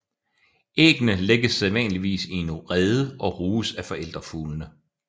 Æggene lægges sædvanligvis i en rede og ruges af forældrefuglene